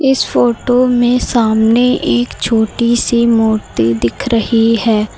इस फोटो में सामने एक छोटी सी मूर्ति दिख रही है।